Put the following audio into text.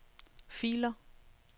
filer